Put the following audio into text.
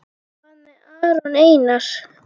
Hvað með Aron Einar?